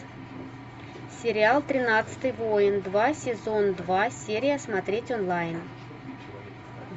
сериал тринадцатый воин два сезон два серия смотреть онлайн